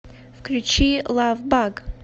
включи лавбаг